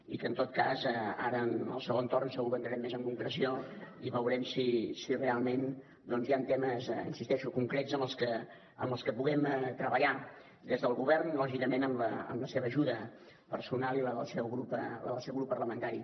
i en tot cas ara en el segon torn segur que entrarem més en concreció i veurem si realment hi han temes hi insisteixo concrets en els que puguem treballar des del govern lògicament amb la seva ajuda personal i la del seu grup parlamentari